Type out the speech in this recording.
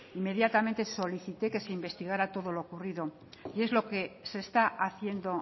inmediatamente solicité que se investigara todo lo ocurrido y es lo que se está haciendo